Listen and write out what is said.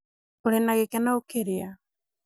ũrĩ na gĩkeno ũkĩrĩa